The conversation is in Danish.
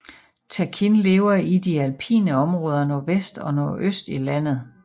Takin lever i de alpine områder nordvest og nordøst i landet